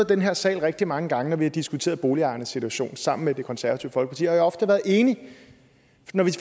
den her sal rigtig mange gange når vi har diskuteret boligejernes situation sammen med det konservative folkeparti og jeg har ofte været enig